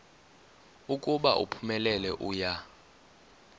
ukuba uphumelele uya